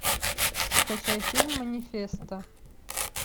скачай фильм манифеста